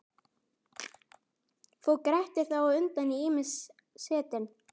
Fór Grettir þá undan í ýmis setin.